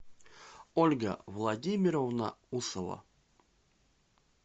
ольга владимировна усова